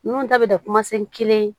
Ninnu ta bɛ da kelen